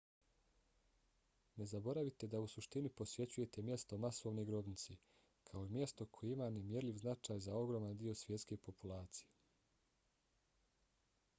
ne zaboravite da u suštini posjećujete mjesto masovne grobnice kao i mjesto koje ima nemjerljiv značaj za ogroman dio svjetske populacije